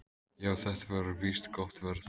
"""Já, þetta var víst gott verð."""